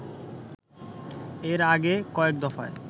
এর আগে কয়েক দফায়